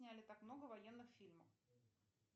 сняли так много военных фильмов